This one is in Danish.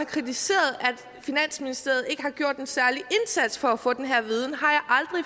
kritiseret at finansministeriet ikke har gjort en særlig indsats for at få den her viden